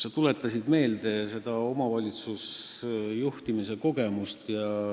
Sa tuletasid meelde omavalitsuse juhtimise kogemust.